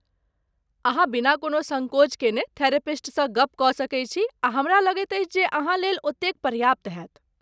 अहाँ बिना कोनो सङ्कोच केने थेरेपिस्टसँ गप्प कऽ सकैत छी आ हमरा लगैत अछि जे अहाँलेल ओतेक पर्याप्त होयत।